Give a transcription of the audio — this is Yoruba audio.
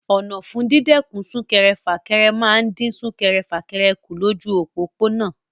Ọ̀nà fún dídẹ́kun sún-kẹrẹ-fà-kẹrẹ máa ń dín sún-kẹrẹ-fà-kẹrẹ kù lójú òpópónà.